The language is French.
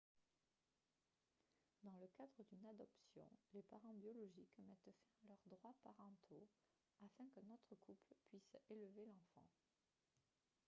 dans le cadre d'une adoption les parents biologiques mettent fin à leurs droits parentaux afin qu'un autre couple puisse élever l'enfant